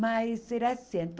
Mas era assim.